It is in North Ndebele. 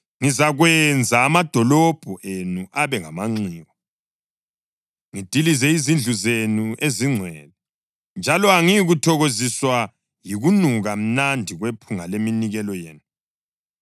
Ngizakwenza amadolobho enu abe ngamanxiwa, ngidilize izindlu zenu ezingcwele, njalo angiyikuthokoziswa yikunuka mnandi kwephunga leminikelo yenu.